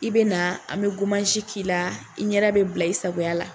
I bɛna an bɛ k'i la, i ɲɛ da bɛ bila isagoya la.